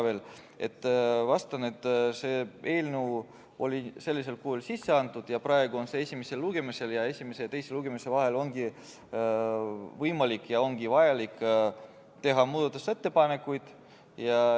Ma vastan, et see eelnõu oli sellisel kujul sisse antud ja praegu on see esimesel lugemisel ning esimese ja teise lugemise vahel on võimalik ja vajalik teha muudatusettepanekuid.